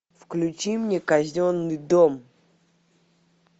включи мне казенный дом